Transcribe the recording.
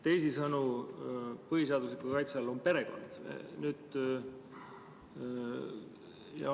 Teisisõnu, põhiseadusliku kaitse all on perekond.